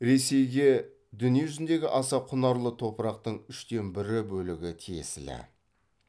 ресейге дүниежүзіндегі аса құнарлы топырақтың үштен бірі бөлігі тиесілі